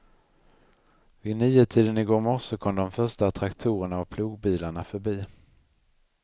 Vid niotiden i går morse kom de första traktorerna och plogbilarna förbi.